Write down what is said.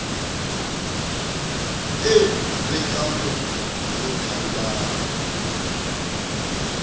eo re ka mo kgothollang